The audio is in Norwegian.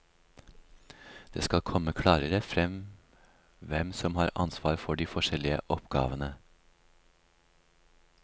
Det skal komme klarere fram hvem som har ansvar for de forskjellige oppgavene.